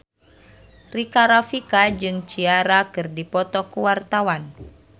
Rika Rafika jeung Ciara keur dipoto ku wartawan